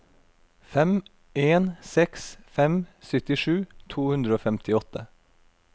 fem en seks fem syttisju to hundre og femtiåtte